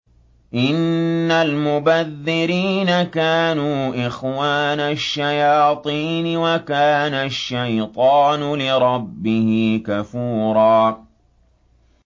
إِنَّ الْمُبَذِّرِينَ كَانُوا إِخْوَانَ الشَّيَاطِينِ ۖ وَكَانَ الشَّيْطَانُ لِرَبِّهِ كَفُورًا